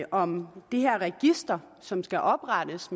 om det her register som skal oprettes